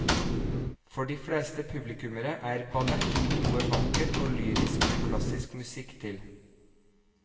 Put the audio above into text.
For de fleste publikummere er ballett noe vakkert og lyrisk med klassisk musikk til.